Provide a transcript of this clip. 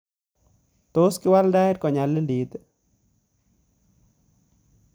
Tos kiwal tait konyalilit